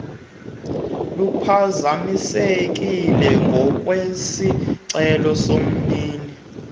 luphazamisekile ngokwesicelo somnini